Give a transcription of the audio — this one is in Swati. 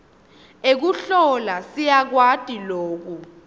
ekuhlola siyakwati loku